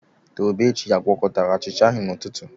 Tobechi a gwakọtara achịcha ahụ n'ụtụtụ?